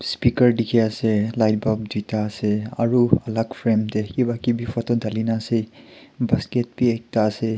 speaker dikhi ase light bulb duita ase aru alag frame teh kiba kibi photo dhalina ase basket be ekta ase.